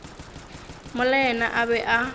mola yena a be a